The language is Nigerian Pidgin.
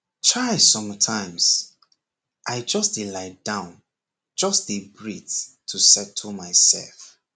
chaisometimes i just dey lie down just dey breathe to settle myself